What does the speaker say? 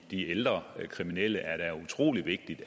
ældre kriminelle er da utrolig vigtigt